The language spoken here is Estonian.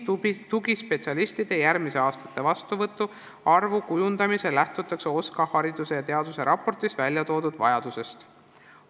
Tugispetsialistide järgmiste aastate vastuvõtu arvu kujundamisel lähtutakse OSKA hariduse ja teaduse raportis toodud vajadusest.